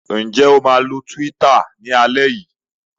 Ǹjẹ́ o máa lo Twitter ní alẹ́ yìí?